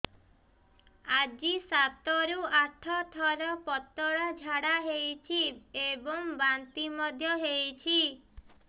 ଆଜି ସାତରୁ ଆଠ ଥର ପତଳା ଝାଡ଼ା ହୋଇଛି ଏବଂ ବାନ୍ତି ମଧ୍ୟ ହେଇଛି